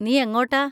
നീ എങ്ങോട്ടാ?